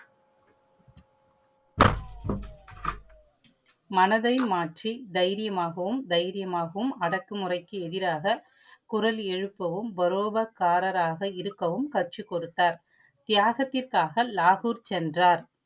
மனதை மாற்றி தைரியமாகவும் தைரியமாகவும் அடக்குமுறைக்கு எதிராக குரல் எழுப்பவும் வரோதகாரராக இருக்கவும் கற்று கொடுத்தார். தியாகத்திற்காக லாகூர் சென்றார்.